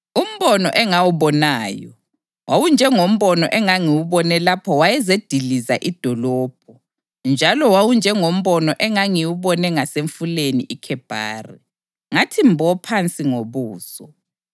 Umbono engawubonayo wawunjengombono engangiwubone lapho wayezediliza idolobho njalo wawunjengombono engangiwubone ngasemfuleni iKhebhari, ngathi mbo phansi ngobuso.